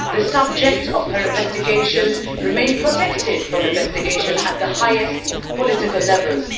The subjects of her investigations remain protected from investigation at the highest political levels.